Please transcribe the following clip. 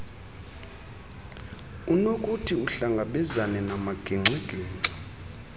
unokuthi uhlangabezane namagingxigingxi